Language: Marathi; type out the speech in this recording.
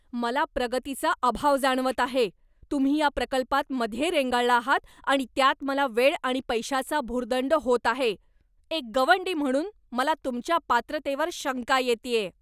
मला प्रगतीचा अभाव जाणवत आहे. तुम्ही या प्रकल्पांत मध्ये रेंगाळला आहात आणि त्यात मला वेळ आणि पैशाचा भुर्दंड होत आहे, एक गवंडी म्हणून मला तुमच्या पात्रतेवर शंका येतेय.